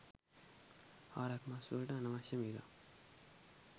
හරක් මස් වලට අනවශ්‍ය මිලක්